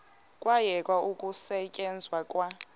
kwayekwa ukusetyenzwa kwa